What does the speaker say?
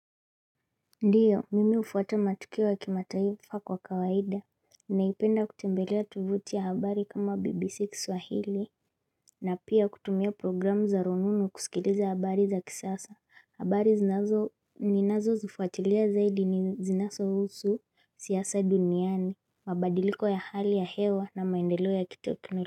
Ndiyo, mimi ufuata matukio ya kimataifa kwa kawaida. Ninaipenda kutembelea tuvuti ya habari kama BBC kiswahili. Na pia kutumia programu za rununu kusikiliza habari za kisasa. Habari zinazo ninazozifuatilia zaidi ni zinasohusu siasa duniani. Mabadiliko ya hali ya hewa na maendelo ya kitekno.